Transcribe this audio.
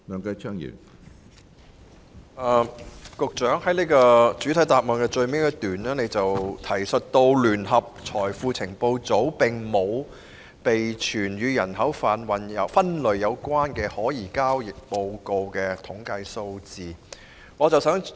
局長在主體答覆最後一段提述，聯合財富情報組並沒有備存與人口販運分類有關的可疑交易報告的數字統計。